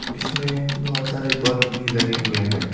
इसमें बहुत सारे बल्ब भी लगे हुए हैं।